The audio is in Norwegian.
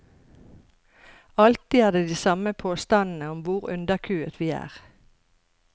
Alltid er det de samme påstandene om hvor underkuet vi er.